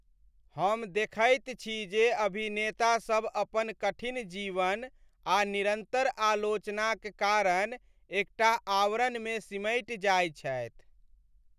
हम देखैत छी जे अभिनेतासब अपन कठिन जीवन आ निरन्तर आलोचनाक कारण एकटा आवरणमे सिमटि जाइ छथि।